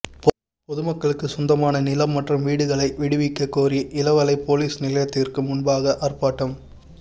பொதுமக்களுக்குச் சொந்தமான நிலம் மற்றும் வீடுகளை விடுவிக்க கோரிஇளவாலை பொலிஸ் நிலையத்திற்கு முன்பாக ஆர்ப்பாட்டம்